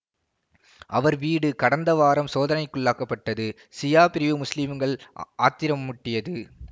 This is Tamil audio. அவர் வீடு கடந்த வாரம் சோதனைக்குள்ளாக்கப்பட்டது சியா பிரிவு முசுலிம்கள் ஆத்திரமூட்டியது